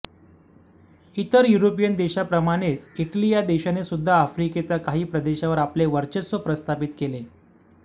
इतर युरोपीयन देशांप्रमाणेच इटली या देशाने सुद्धा आफ्रिकेचा काही प्रदेशावर आपले वर्चस्व प्रस्थापित केले